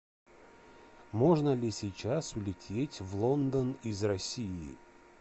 можно ли сейчас улететь в лондон из россии